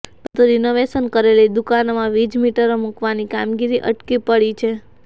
પરંતુ રિનોવેશન કરેલી દુકાનોમાં વીજ મીટરો મુકવાની કામગીરી અટકી પડી છે